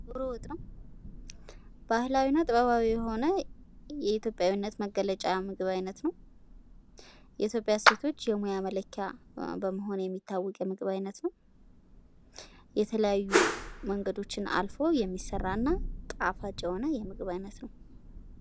ዶሮ ወጥ ነው። ባህላዊ እና ጥበባዊ የሆነ የኢትዮጵያዊነት መገለጫ ምግብ አይነት ነው። የኢትዮጵያ ሴቶች የሙያ መለኪያ በመሆን የሚታወቅ የምግብ አይነት ነው። የተለያዩ መንገዶችን አልፎ የሚሰራና ጣፋጭ የሆነ የምግብ አይነት ነው።